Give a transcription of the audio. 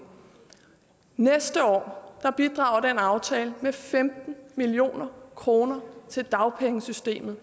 næste år bidrager den aftale med femten million kroner til dagpengesystemet